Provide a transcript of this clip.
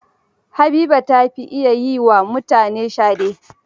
Habiba ta fi iya yi wa mutane shade.